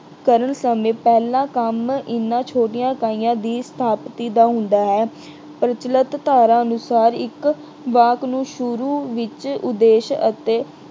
ਕਰਨ ਸਮੇਂ ਪਹਿਲਾ ਕੰਮ ਇਹਨਾਂ ਛੋਟੀਆਂ ਇਕਾਈਆਂ ਦੀ ਸਥਾਪਤੀ ਦਾ ਹੁੰਦਾ ਹੈ। ਪ੍ਰਚਲਿਤ ਧਾਰਾ ਅਨੁਸਾਰ ਇੱਕ ਵਾਕ ਨੂੰ ਸ਼ੁਰੂ ਵਿੱਚ ਉਦੇਸ਼ ਅਤੇ